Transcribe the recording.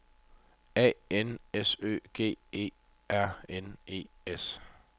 A N S Ø G E R N E S